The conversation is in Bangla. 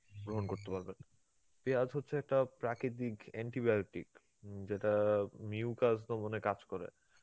গ্রহণ করতে পারবেন. পিয়াজ হচ্ছে একটা প্রাকিতিক antibiotic উম যেটা mucus দমনে কাজ করে.